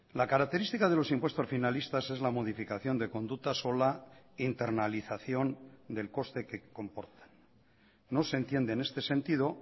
la característica de los impuestos finalistas es la modificación de conductas o la internalización del coste que comportan no se entiende en este sentido